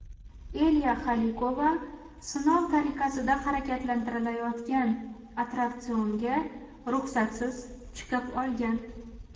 Elya Xalikova sinov tariqasida harakatlantirilayotgan attraksionga ruxsatsiz chiqib olgan.